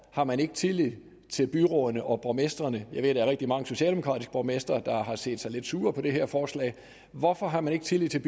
har man ikke tillid til byrådene og borgmestrene jeg ved at der er rigtig mange socialdemokratiske borgmestre der har set sig lidt sure på det her forslag hvorfor har man ikke tillid til